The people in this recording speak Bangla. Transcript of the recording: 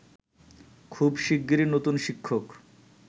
খুব শিগগিরই নতুন শিক্ষক